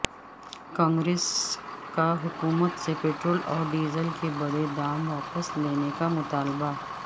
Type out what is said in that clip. کانگریس کا حکومت سے پٹرول اور ڈیزل کے بڑھے دام واپس لینے کا مطالبہ